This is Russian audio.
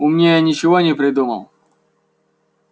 умнее ничего не придумал